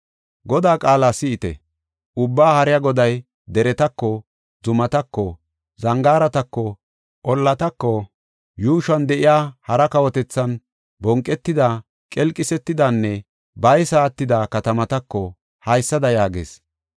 Godaa qaala si7ite! Ubbaa Haariya Goday deretako, zumatako, zangaaratako, ollatako, yuushuwan de7iya hara kawotethan bonqetida, qelqisetidanne baysa attida katamatako haysada yaagees.